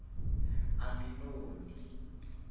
aminomi